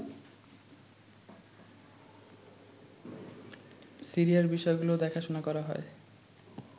সিরিয়ার বিষয়গুলো দেখাশুনা করা হয়